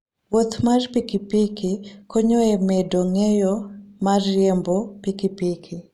Wuoth mar pikipiki konyo e medo ng'eyo mar riembo pikipiki.